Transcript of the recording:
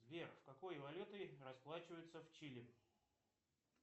сбер какой валютой расплачиваются в чили